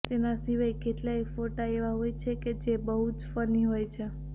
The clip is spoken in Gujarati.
તેના સિવાય કેટલાક ફોટા એવા હોય છે જે બહુ જ ફની હોય છે